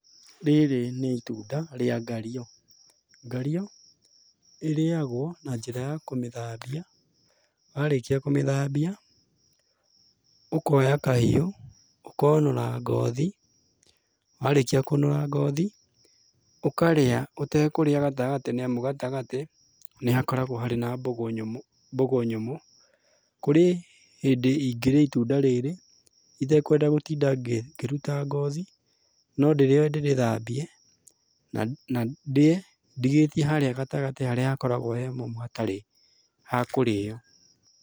Rĩrĩ nĩ itunda rĩa ngario. Ngario ĩrĩyagwo na njĩra ya kũmĩthambia, warĩkia kũmĩthambia, ũkoya kahiũ, ũkonũra ngothi, warĩkia kũnũra ngothi, ũkarĩa ũtekũrĩa gatagatĩ nĩamu gatagatĩ, nĩhakoragwo harĩ na mbũgũ nyũmũ, mbũgũ nyũmũ. Kũrĩ hĩndĩ ingĩrĩa itunda rĩrĩ, itekwenda gũtinda ngĩruta ngothi, no ndĩrĩoe ndĩrĩthambie, na na ndĩe, ndigĩtie harĩa gatagatĩ harĩa hakoragwo he homũ hatarĩ ha kũrĩo.